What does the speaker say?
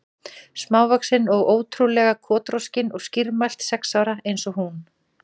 Smávaxin og ótrú- lega kotroskin og skýrmælt, sex ára eins og hún.